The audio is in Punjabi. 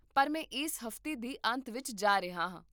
ਪਰ ਮੈਂ ਇਸ ਹਫ਼ਤੇ ਦੇ ਅੰਤ ਵਿੱਚ ਜਾ ਰਿਹਾ ਹਾਂ